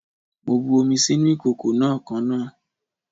Mo bu omi sínú ìkòkò náà kaná.